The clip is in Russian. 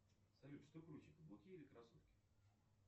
салют что круче каблуки или кроссовки